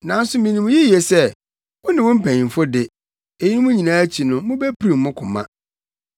Nanso minim yiye sɛ wo ne wo mpanyimfo de, eyinom nyinaa akyi no, mubepirim mo koma.”